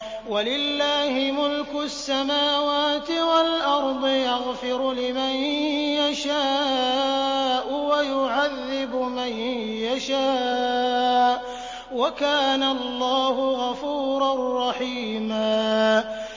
وَلِلَّهِ مُلْكُ السَّمَاوَاتِ وَالْأَرْضِ ۚ يَغْفِرُ لِمَن يَشَاءُ وَيُعَذِّبُ مَن يَشَاءُ ۚ وَكَانَ اللَّهُ غَفُورًا رَّحِيمًا